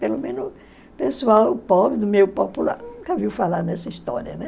Pelo menos o pessoal pobre, do meio popular, nunca viu falar nessa história, né?